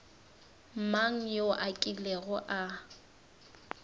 mang yo a kilego a